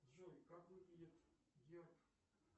джой как выглядит герб